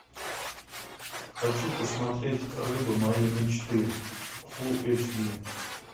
хочу посмотреть рыба моей мечты фулл эйч ди